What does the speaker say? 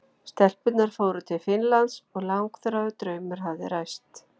Stelpurnar fóru til Finnlands og langþráður draumur hafði ræst.